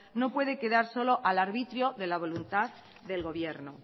no puede quedar solo al arbitrio de la voluntad del gobierno